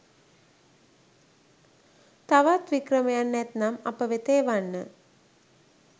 තවත් වික්‍රමයන් ඇතිනම් අප වෙත එවන්න.